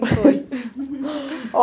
foi. Ó